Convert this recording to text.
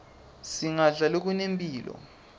singadla lokungenampilo